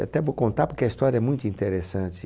Até vou contar porque a história é muito interessante.